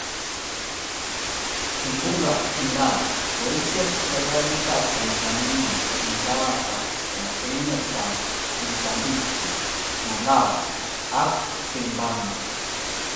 Kimbunga idai: Koicher serkalit ap tanzania msaada kwo emet ap Msumbiji malawi ag zimbambwe.